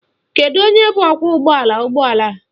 Kedu onye bụ ọkwọụgbọala ụgbọala?